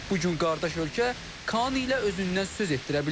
Bu gün qardaş ölkə KAAN ilə özündən söz etdirə bilir.